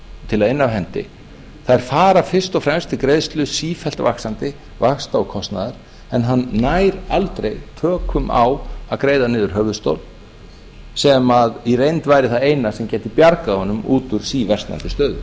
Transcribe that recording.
til að inna af hendi fara fyrst og fremst til greiðslu sífellt vaxandi vaxta og kostnaðar en hann nær aldrei tökum á að greiða niður höfuðstól sem í reynd væri það eina sem gæti bjargað honum út úr síversnandi stöðu